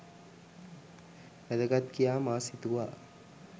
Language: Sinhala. වැදගත් කියා මා සිතුවා.